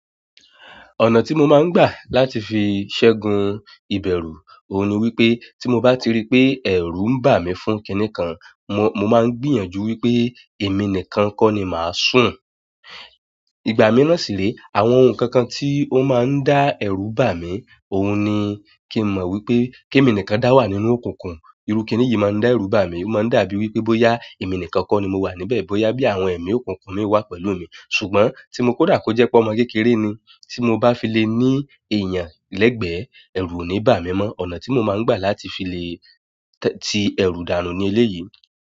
Ọ̀nà tí mo máa ń gbà láti fi ṣẹ́gun ìbẹ̀rù, òun ni wípé tí mo bá ti rí pé ẹ̀rù ń bà mí fún kiní kan, mo, mo máa ń gbìyànjú wípé èmi nìkan kọ́ ni màá sùn. Ìgbà mìíràn sì lé, àwọn ohun kan kan tí ó máa ń dá ẹ̀rù bà mí, òun ni kí n mọ wípé kí èmi nìkan dá wà nínú òkùnkùn, irú kiní yìí máa ń dá ẹ̀rù bà mí, o maa n dàbí wípé boya emi nìkan ko ni mo wa níbẹ̀ boya bi àwọn emi okunkun mi wa pẹ̀lú mi ṣùgbọ́n ti kódà ko je pe ọmọ kékeré ni ti mo ba file ni eyan legbe eru oni bami mo. Ọ̀nà ti mo maa n gba láti file ti eru danu leleyi.